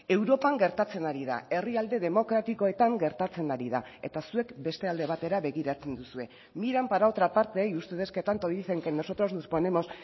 europan gertatzen ari da herrialde demokratikoetan gertatzen ari da eta zuek beste alde batera begiratzen duzue miran para otra parte y ustedes que tanto dicen que nosotros nos ponemos